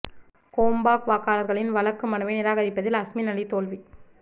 Gombak வாக்காளர்களின் வழக்கு மனுவை நிராகரிப்பதில் அஸ்மின் அலி தோல்வி